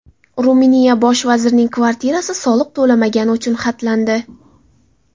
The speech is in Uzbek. Ruminiya bosh vazirining kvartirasi soliq to‘lamagani uchun xatlandi.